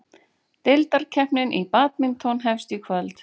Deildakeppnin í badminton hefst í kvöld